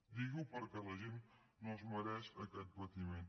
digui ho perquè la gent no es mereix aquest patiment